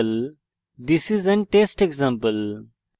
this is an test example